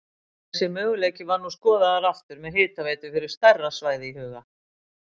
Þessi möguleiki var nú skoðaður aftur með hitaveitu fyrir stærra svæði í huga.